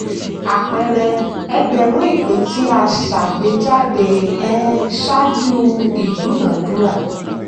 àpẹẹrẹ: ẹgbẹ̀rún ìpín tí a ṣàgbéjáde um ṣáájú ìdúnàádúrà.